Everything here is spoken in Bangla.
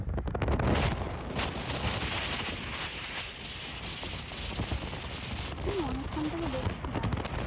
আমি অনেক্ষন থেকে দেখছিলাম